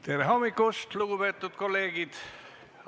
Tere hommikust, lugupeetud kolleegid!